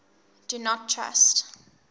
do not trust